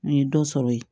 N ye dɔ sɔrɔ yen